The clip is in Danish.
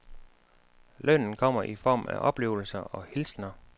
Lønnen kommer i form af oplevelser og hilsener.